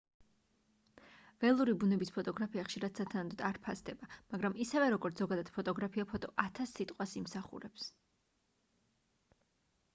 ველური ბუნების ფოტოგრაფია ხშირად სათანადოდ არ ფასდება მაგრამ ისევე როგორც ზოგადად ფოტოგრაფია ფოტო ათას სიტყვას იმსახურებს